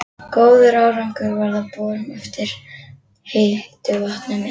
Góður árangur varð af borun eftir heitu vatni með